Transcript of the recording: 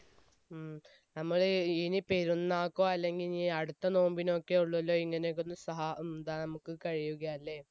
ഉം നമ്മൾ ഇനി പെരുന്നാക്കോ അല്ലെങ്കിൽ ഇനി അടുത്ത നോമ്പിനൊക്കെ ഉള്ളു അല്ലെ ഇങ്ങനെയൊക്കെ ഒന്ന് സഹ ഉം എന്താ നമ്മുക്ക് കഴിയുകയല്ലേ